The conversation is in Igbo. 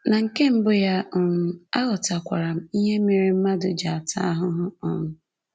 Na nke mbụ ya, um aghọtakwara m ihe mere mmadụ ji ata ahụhụ. um